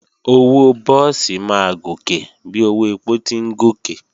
Owó búùsì máa gòkè bí owó èpò ti ń gòkè